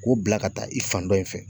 Ko bila ka taa i fan dɔ in fɛ.